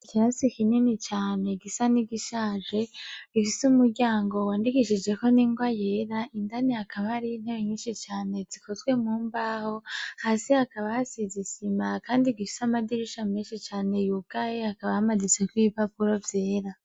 Ikirasi kinini cane gisa nigishaje gifise umuryango wandikishijeko ningwa yera indani hakaba hari intebe nyinshi cane zikozwe mu mbaho, hasi hakaba hasize isima kandi gifise amadirisha menshi cane yugaye hakaba hamanitseko ibipapuro vyera.